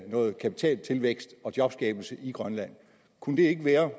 noget kapitaltilvækst og jobskabelse i grønland kunne det ikke være